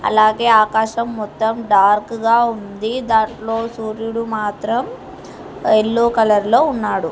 అలాగే ఆకాశం మొత్తం డార్క్ గా ఉంది దాంట్లో సూర్యుడు మాత్రం ఎల్లో కలర్ లో ఉన్నాడు.